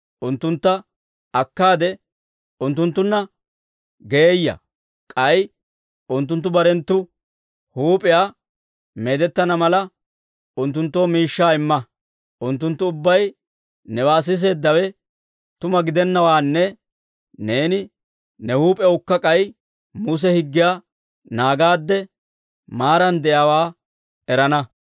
Unttuntta akkaade unttunttunna geeyya; k'ay unttunttu barenttu huup'iyaa meedettana mala, unttunttoo miishshaa imma; unttunttu ubbay newaa siiseeddawe tuma gidennawaanne neeni ne huup'ewukka k'ay Muse higgiyaa naagaadde maaran de'iyaawaa erana.